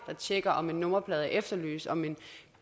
tjekker om en nummerplade er efterlyst om en